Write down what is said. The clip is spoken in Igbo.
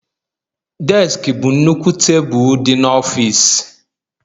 Deski bụ nnukwu tebụl dị n'ọfịs